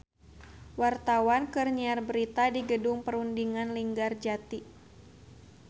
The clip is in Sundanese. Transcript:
Wartawan keur nyiar berita di Gedung Perundingan Linggarjati